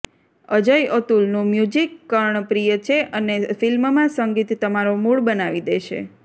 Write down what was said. અજય અતુલનું મ્યુઝિક કર્ણ પ્રિય છે અને ફિલ્મમાં સંગીત તમારો મૂડ બનાવી દેશે